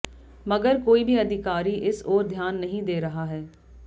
मगर कोई भी अधिकारी इस ओर ध्यान नहीं दे रहा है